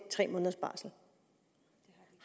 tre måneders barsel